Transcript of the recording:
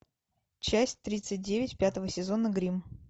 часть тридцать девять пятого сезона гримм